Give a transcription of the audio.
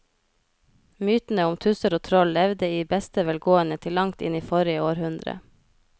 Mytene om tusser og troll levde i beste velgående til langt inn i forrige århundre.